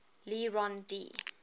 le rond d